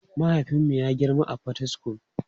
Mahaifinmu ya girma a Potistum.